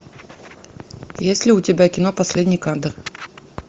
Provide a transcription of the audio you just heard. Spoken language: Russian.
есть ли у тебя кино последний кадр